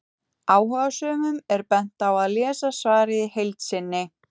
Áhugasömum er bent á að lesa svarið í heild sinni.